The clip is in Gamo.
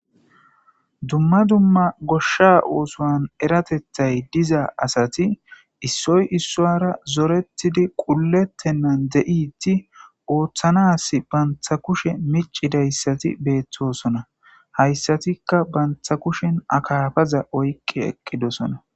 Duma duma goshsha ossuwan eratethayi dizza asati issoyi issuwara zorettidi qulletenani de'iddi oththanas bantta kushshiya miccidayiti bettosona hayssatikka banta kushshen akkafaza oyqqi eqqidosona.